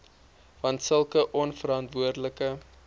want sulke onverantwoordelike